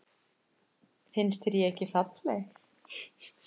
Finnst þér ég ekki falleg?